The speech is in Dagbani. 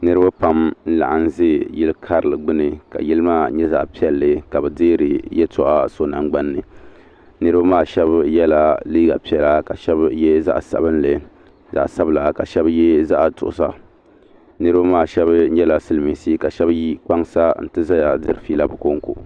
Niriba pam n laɣim ʒi yili karili gbini ka yili maa nyɛ zaɣa piɛlli ka bɛ deeri yeltɔɣa so nangbani niriba maa sheba yela liiga piɛla ka sheba ye zaɣa sabinli ka sheba ye zaɣa nuɣuso niriba maa sheba nyɛla silimiinsi ka sheba yi kpaŋsa ti zaya diri fiila bɛ konko.